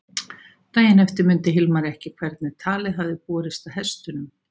Daginn eftir mundi Hilmar ekki hvernig talið hafði borist að hestunum.